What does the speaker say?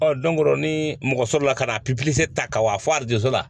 ni mɔgɔ sɔrɔla ka na ta ka bɔ a fɔ a la